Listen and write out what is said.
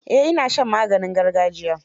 Eh ina shan maganin gargajiya.